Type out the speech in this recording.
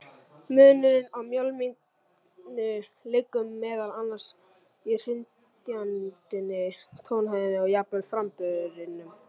Munurinn á mjálminu liggur meðal annars í hrynjandinni, tónhæðinni og jafnvel framburðinum.